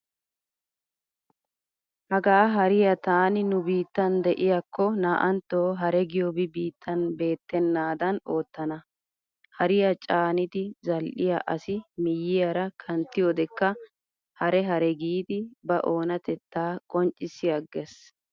Hagaa hariya taani nu biittan de'iyaakko naa"antto hare giyobi biittan beettennaadan oottana. Hariya caanidi zal'yaa asi miyyiyaara kanttiyodekka hare hare giidi ba oonatettaa qonccissi aggees.